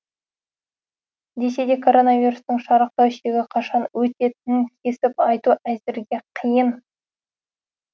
десе де коронавирустың шарықтау шегі қашан өтетінін кесіп айту әзірге қиын